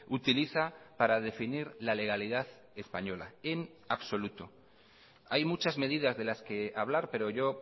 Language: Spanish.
utiliza para definir la legalidad española en absoluto hay muchas medidas de las que hablar pero yo